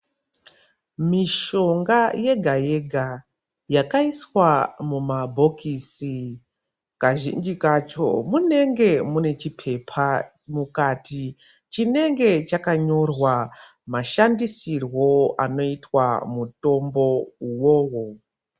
Mishonga yega yega yakaiswa mumabhokisi kazhinji kacho munenge mune chipepa mukati chinenge chakanyorwa mashandisirwo anoitwa mutombo uwowo.